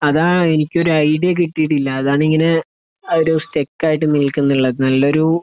അതാ എനിക്ക് ഒരു ഐഡിയ കിട്ടിട്ട് ഇല്ല അതാ ഇങ്ങനെ ഒരു ഇങ്ങനെ ഒരു സ്റ്റിക്ക് ആയി നില്കാന്നു ഉള്ളത് നല്ലൊരു